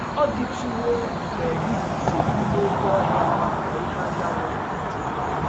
Ọ̀ DỊTỤWO mgbe i guzo n’ime oké ọhịa ka ìhè anyanwụ na - achabata?